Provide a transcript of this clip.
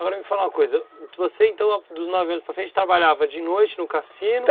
Agora me fala uma coisa, você então dos nove anos para frente trabalhava de noite no cassino?